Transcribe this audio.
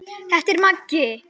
Þetta er Maggi!